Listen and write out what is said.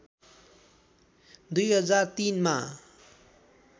२००३ मा